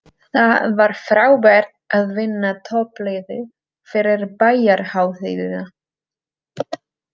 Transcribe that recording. Það var frábært að vinna toppliðið fyrir bæjarhátíðina.